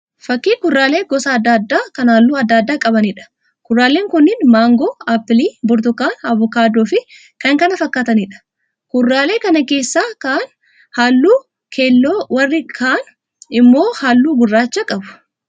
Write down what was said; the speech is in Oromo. Fakkii kuduraalee gosa adda addaa kan halluu adda adda qabaniidha. Kuduraaleen kunniin: Maangoo, Aappilii, Burtukaana, Avokaadoofi kan kana fakkaataniidha. Kuduraalee kana keessaa ka'an halluu keelloo warri ka'an immoo halluu gurraacha qabu.